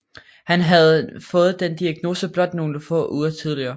Han havde fået denne diagnose blot nogle få uger tidligere